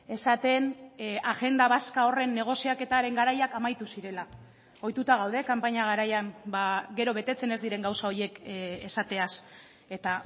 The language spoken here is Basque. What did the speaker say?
esaten agenda vasca horren negoziaketaren garaiak amaitu zirela ohituta gaude kanpaina garaian gero betetzen ez diren gauza horiek esateaz eta